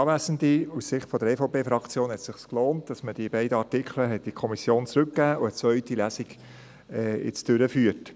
Aus Sicht der EVP hat es sich gelohnt, dass man diese beiden Artikel in die Kommission zurückgab und jetzt eine zweite Lesung durchführt.